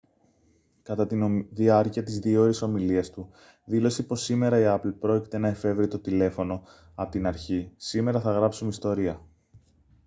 κατά τη διάρκεια της 2ωρης ομιλίας του δήλωσε πως «σήμερα η apple πρόκειται να εφεύρει το τηλέφωνο απ' την αρχή σήμερα θα γράψουμε ιστορία»